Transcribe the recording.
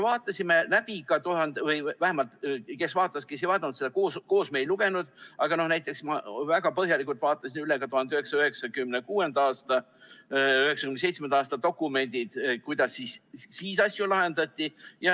Vaatasime läbi ka – kes vaatas, kes ei vaadanud, seda me koos ei lugenud, aga näiteks mina vaatasin väga põhjalikult läbi – 1996. aasta ja 1997. aasta dokumendid, selle, kuidas siis asju lahendati.